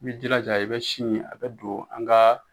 I b'i jilaja i bɛ sini in a bɛ don an ka